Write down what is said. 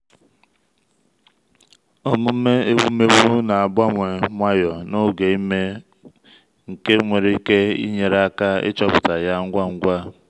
omume ewumewụ na-agbanwe nwayọ n’oge ime nke nwere ike nyere aka ịchọpụta ya ngwa ngwa.